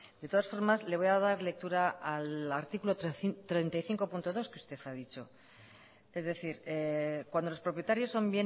de todas formas le voy a dar lectura al artículo treinta y cinco punto dos que usted ha dicho es decir cuando los propietarios son